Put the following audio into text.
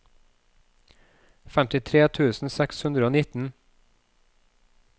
femtitre tusen seks hundre og nitten